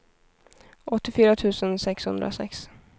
åttiofyra tusen sexhundrasex